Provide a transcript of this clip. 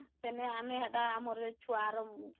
ସେନେ ଆମେ ହେଟା ଆମର ଛୁଆ ର